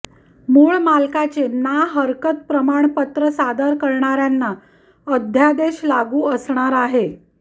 मूळ मालकाचे ना हरकत प्रमाणपत्र सादर करणाऱ्यांना अध्यादेश लागू असणार आहे